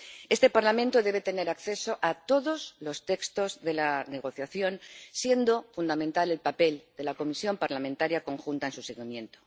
Este Parlamento debe tener acceso a todos los textos de la negociación, siendo fundamental el papel de la Comisión Parlamentaria conjunta en su seguimiento.